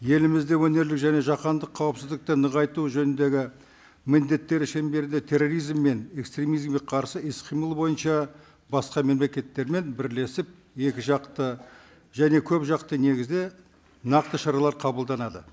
елімізде өңірлік және жаһандық қауіпсіздікті нығайту жөніндегі міндеттері шеңберде терроризм мен экстремизмге қарсы іс қимыл бойынша басқа мемлекеттермен бірлесіп екіжақты және көпжақты негізде нақты шаралар қабылданады